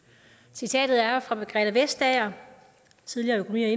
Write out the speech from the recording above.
citatet er fra margrethe vestager tidligere